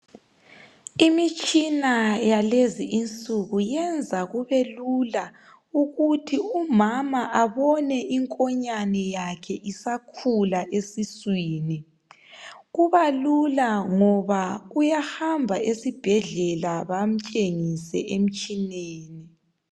Imitshina yakulezinsuku yenza kube lula ukuthi umama abone inkonyane yakhe isakhula esiswini. Kuba lula ngoba uyahamba esibhedlela bamtshengise emtshineni.